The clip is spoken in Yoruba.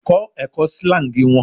Kọ ẹkọ slangs wọn